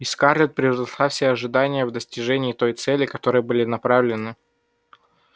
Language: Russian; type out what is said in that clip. и скарлетт превзошла все ожидания в достижении той цели к которой были направлены совместные усилия эллин и мамушки